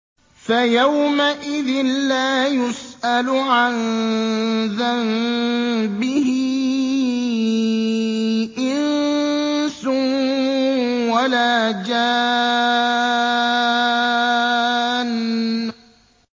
فَيَوْمَئِذٍ لَّا يُسْأَلُ عَن ذَنبِهِ إِنسٌ وَلَا جَانٌّ